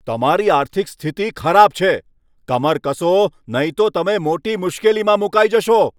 તમારી આર્થિક સ્થિતિ ખરાબ છે! કમર કસો, નહીં તો તમે મોટી મુશ્કેલીમાં મુકાઈ જશો.